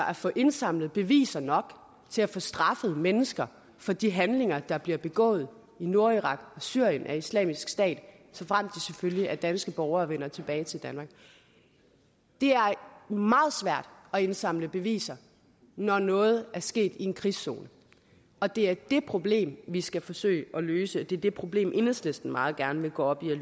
at få indsamlet beviser nok til at få straffet mennesker for de handlinger der bliver begået i nordirak og syrien af islamisk stat såfremt selvfølgelig er danske borgere og vender tilbage til danmark det er meget svært at indsamle beviser når noget er sket i en krigszone og det er det problem vi skal forsøge at løse og det er det problem enhedslisten meget gerne vil gå op i at